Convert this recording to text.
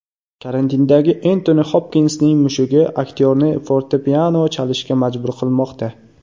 Karantindagi Entoni Xopkinsning mushugi aktyorni fortepiano chalishga majbur qilmoqda.